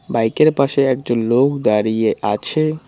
বাইকের পাশে একজন লোক দাঁড়িয়ে আছে।